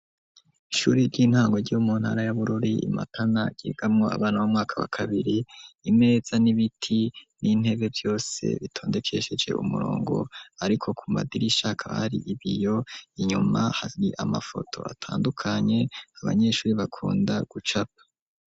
ishure ry'intango ryo mu ntara y'abururi imatana gegamo abana b'umwaka wa kabiri imeza n'ibiti n'intebe byose bitondekesheje umurongo ariko ku madiri ishaka hari ibiyo inyuma hari amafoto atandukanye abanyeshure bakunda gucapa.